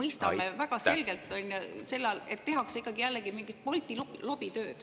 Me mõistame väga selgelt, et jälle tehakse mingit Bolti lobitööd.